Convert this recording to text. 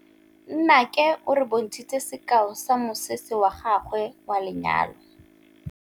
Nnake o re bontshitse sekaô sa mosese wa gagwe wa lenyalo.